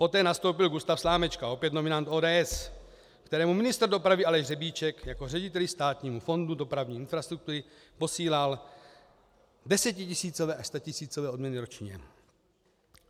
Poté nastoupil Gustav Slamečka, opět nominant ODS, kterému ministr dopravy Aleš Řebíček jako řediteli Státního fondu dopravní infrastruktury posílal desetitisícové až statisícové odměny ročně.